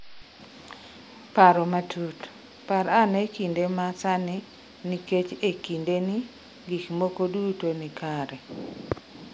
Paro matut: Par ane kinde ma sani nikech e kindeni gik moko duto ni kare.